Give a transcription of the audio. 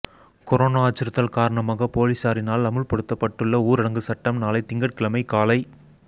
corona அச்சுறுத்தல் காரணமாக பொலிஸாரினால் அமுல்படுத்தப்பட்டுள்ள ஊரடங்கு சட்டம் நாளை திங்கட்கிழமை காலை